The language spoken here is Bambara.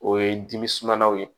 O ye dimi sumayaw ye